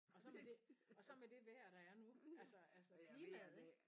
Og så med det og så med det vejr der er nu altså altså klimaet ik